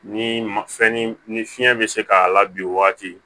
Ni ma fɛn ni fiɲɛ bɛ se k'a la bi o waati